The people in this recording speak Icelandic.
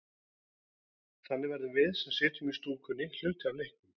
Þannig verðum við, sem sitjum í stúkunni, hluti af leiknum.